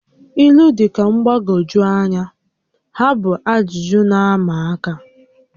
ílú dị ka mgbagwoju anya, ha bụ ajụjụ na-ama aka